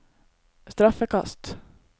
straffekast